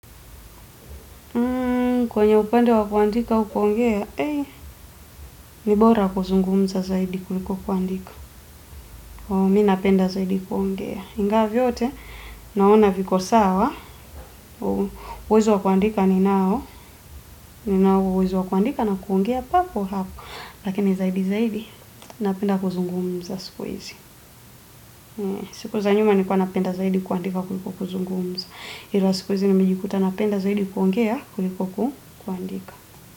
Kwenye upenda wakuandika au kuongea, ni bora kuzungumza zaidi kuliko kuandika. Mi napenda zaidi kuongea. Ingawa vyote, naona viko sawa, uwezo wa kuandika ninao, ninao uwezo wa kuandika na kuongea papo hapo. Lakini zaidi zaidi, napenda kuzungumza siku hizi. Siku za nyuma nilikuwa napenda zaidi kuandika kuliko kuzungumza. Ila siku hizi nimejikuta napenda zaidi kuongea kuliko kuandika.